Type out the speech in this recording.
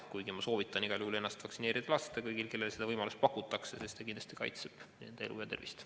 Kuid ma soovitan igal juhul lasta ennast vaktsineerida kõigil, kellele seda võimalust pakutakse, sest see kindlasti kaitseb nende elu ja tervist.